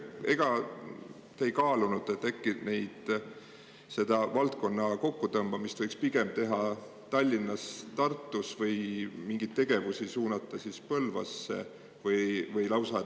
Ega te ei kaalunud, et seda valdkonna kokku tõmbamist võiks pigem teha Tallinnas, Tartus ja mingeid tegevusi suunata Põlvasse?